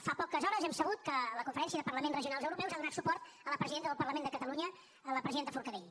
fa poques hores hem sabut que la conferència de parlaments regionals europeus ha donat suport a la presidenta del parlament de catalunya a la presidenta forcadell